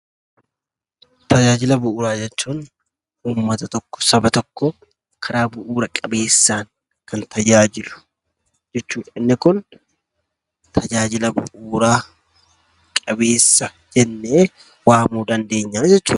Tajaajila bu'uuraa jechuun uummata tokko, saba tokko karaa bu'uura qabeessaan kan tajaajilu jechuudha. Inni kun tajaajia bu'uura qabeessa jennee waamuu dandeenya jechuudha.